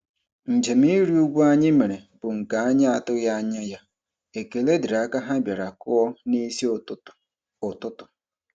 Njem ịrị ugwu anyị mere bụ nke anyị atụghị anya ya, ekele dịrị aka ha bịara kụọ n'isi ụtụtụ. ụtụtụ.